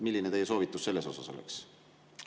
Milline teie soovitus selles osas oleks?